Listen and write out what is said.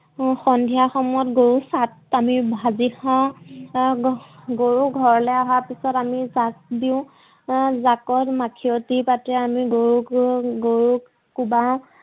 সন্ধিয়া সময়ত গৰু চাত আমি ভাজি খাও গৰু ঘৰলে অহাৰ পিছত আমি চাকি দিওঁ জাকৰ মাখিয়তী পাতে আমি গৰু গা